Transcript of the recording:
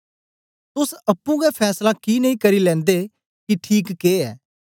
तोस अप्पुं गै फैसला कि नेई करी लेनदे कि ठीक के ऐ